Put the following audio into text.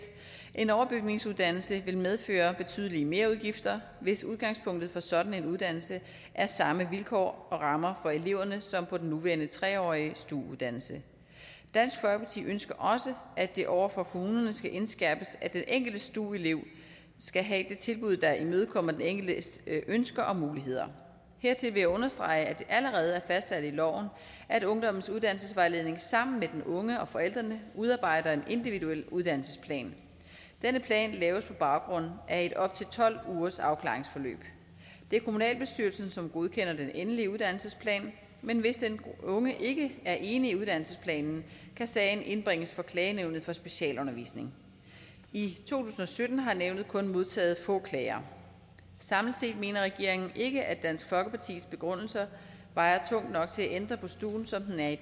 en overbygningsuddannelse vil medføre betydelige merudgifter hvis udgangspunktet for sådan en uddannelse er samme vilkår og rammer for eleverne som på den nuværende tre årige stu uddannelse dansk folkeparti ønsker også at det over for kommunerne skal indskærpes at den enkelte stu elev skal have det tilbud der imødekommer den enkeltes ønsker og muligheder hertil vil jeg understrege at det allerede er fastsat i loven at ungdommens uddannelsesvejledning sammen med den unge og forældrene udarbejder en individuel uddannelsesplan denne plan laves på baggrund af et op til tolv ugers afklaringsforløb det er kommunalbestyrelsen som godkender den endelige uddannelsesplan men hvis den unge ikke er enig i uddannelsesplanen kan sagen indbringes for klagenævnet for specialundervisning i to tusind og sytten har nævnet kun modtaget få klager samlet set mener regeringen ikke at dansk folkepartis begrundelser vejer tungt nok til at ændre på stuen som den er i